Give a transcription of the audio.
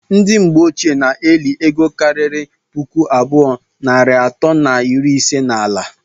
ndi mgbe ọchie na- eli ego kari pụkụ abụọ narị ato na iri ise na ala